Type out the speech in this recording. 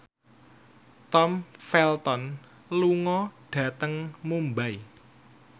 Tom Felton lunga dhateng Mumbai